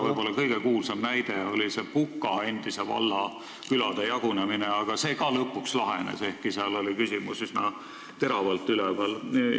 Võib-olla kõige kuulsam näide on endise Puka valla külade jagunemine, aga seegi lõpuks lahenes, ehkki seal oli küsimus üsna teravalt üleval.